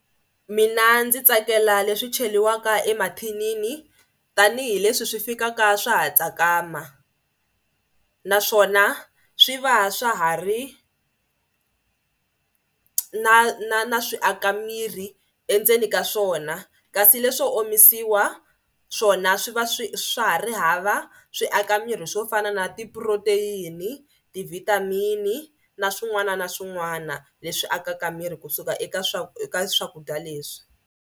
Mina ndzi tsakela leswi cheriwaka emathinini tanihileswi swi fikaka swa ha tsakama naswona swi va swa ha ri na na na swi aka miri endzeni ka swona kasi leswo omisiwa swona swi va swi swa ha ri hava swi aka miri swo fana na ti-protein, ti-vitamin na swin'wana na swin'wana leswi akaka miri kusuka eka eka swakudya leswi.